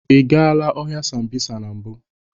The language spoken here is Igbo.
Ị gaala ọhịa Sambisa na mbụ?